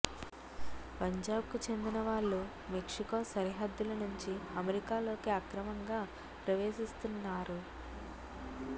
పంజాబ్ కు చెందిన వాళ్లు మెక్సి కో సరిహద్దుల నుంచి అమెరికాలోకి అక్రమంగా ప్రవేశిస్తున్నారు